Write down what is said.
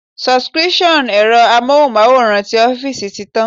Subscription ẹ̀rọ Amóhùnmáwòrán ti ọ́fíìsì ti tán.